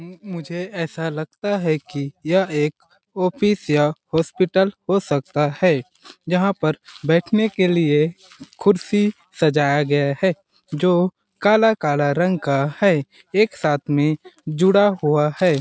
मुझे ऐसा लगता है कि यह एक ऑफिस या हॉस्पिटल हो सकता है जहां पर बैठने के लिए कुर्सी सजाया गया है जो काला-काला रंग का है एक साथ में जुड़ा हुआ है।